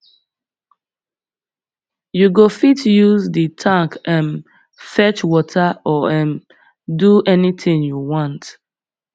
you go fit use the tank um fetch water or um do anything you want